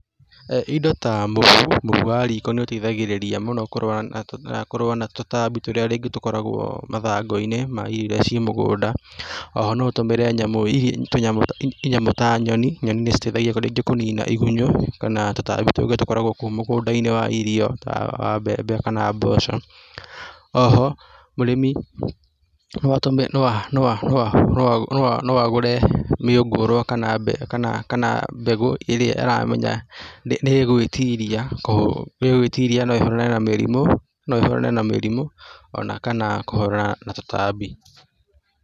Indo ta mũhu, mũhu wa rĩko nĩ ũteithagĩrĩria mũno kũrũa na, kũrũa na tũtambi tũrĩa rĩngĩ tũkoragwo mathangũ-inĩ ma irio iria ciĩ mũgũnda, o ho no ũtũmĩre nyamũ ta nyoni. Nyoni nĩ citeithagia rĩngĩ kũnina igunyũ kana tũtambi tũngĩ tũkoragwo kou mũgũnda-inĩ wa irio ta wa mbembe kana mboco, O ho mũrĩmi no no a no a, no agũre mĩũngũrwa kana, kana mbegũ ĩrĩa aramenya nĩ ĩgwĩtiria no ĩhũrane na mĩrimũ, no ĩhũrane na mĩrimũ o na kana kũhũrana na tũtambi.